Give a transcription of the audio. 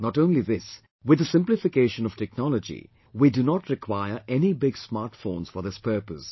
Not only this, with the simplification of technology, we do not require any big smart phones for this purpose